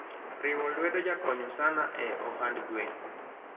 riwo lwedo jakonyo sana e ohand gwen